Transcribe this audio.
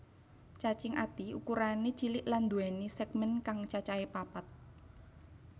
Cacing ati ukurané cilik lan nduwèni sègmèn kang cacahé papat